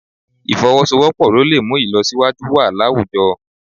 Ì̀fọwọ́sowọ́pọ̀ ló lè mú ìlọsíwájú wà láwùjọ